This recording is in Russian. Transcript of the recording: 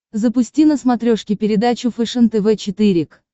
запусти на смотрешке передачу фэшен тв четыре к